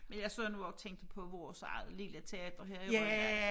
Men jeg sad nu også og tænkte på vores eget lille teater her i Rønne